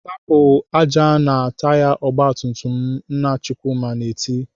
"Sapụ ájá nọ na taya ọgbatumtum m!" Nna Chukwuma na-eti.